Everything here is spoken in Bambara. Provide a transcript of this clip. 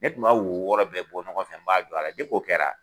Ne tun b'a wo wɔɔrɔ bɛɛ bɔ ɲɔgɔn fɛ n b'a don a la depi o kɛra